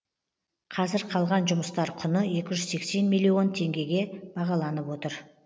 қазір қалған жұмыстар құны екі жүз сексен миллион теңгеге бағаланып отыр